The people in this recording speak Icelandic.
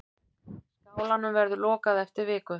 Skálanum verður lokað eftir viku.